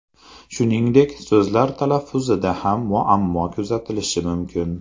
Shuningdek, so‘zlar talaffuzida ham muammo kuzatilishi mumkin.